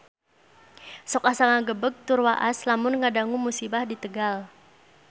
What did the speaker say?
Sok asa ngagebeg tur waas lamun ngadangu musibah di Tegal